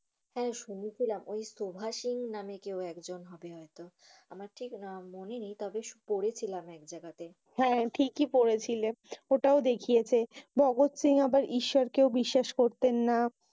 হ্যাঁ শুনেছিলাম। ঐ ভগৎ সিং নামে একজন কেউ হয়তো। আমার ঠিক মনে নাই তবে পড়েছিলাম এক জায়গাতে। হ্যাঁ ঠিকই পড়েছিলে। ওটাও দেখিয়েছে। ভগৎ সিং আবার ঈশ্বর কে ও বিশ্বাস করতেন না।